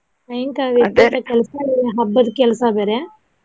ಕೆಲ್ಸಾ ಬೇರೆ ಹಬ್ಬದ ಕೆಲ್ಸಾ ಬೇರೆ.